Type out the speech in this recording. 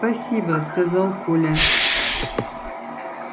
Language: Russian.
спасибо сказал коля